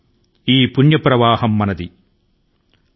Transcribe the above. రాళ్లు రప్పలు ఆపలేనిది మన శక్తివంతమైన దైవిక ప్రవాహం